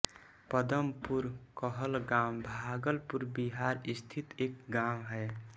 पदमपुर कहलगाँव भागलपुर बिहार स्थित एक गाँव है